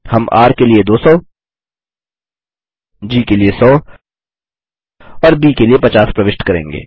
हम र के लिए200 जी के लिए 100 और ब के लिए 50 प्रविष्ट करेंगे